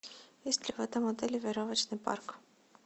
есть ли в этом отеле веревочный парк